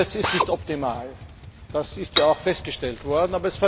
Das Sprachengesetz ist nicht optimal, das ist ja auch festgestellt worden.